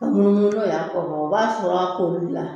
A munumunu no y'a kɔ bɔ, o b'a sɔrɔ a ko b'u la.